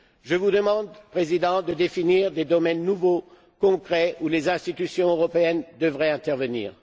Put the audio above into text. Je vous demande, Monsieur le Président, de définir des domaines nouveaux, concrets, où les institutions européennes devraient intervenir.